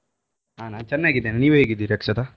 ಹಾ ನಾನ್ ಚೆನ್ನಾಗಿದ್ದೇನೆ ನೀವ್ ಹೇಗಿದ್ದೀರಾ ಅಕ್ಷತ?